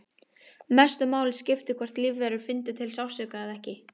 Mestu máli skipti hvort lífverur fyndu til sársauka eða ekki.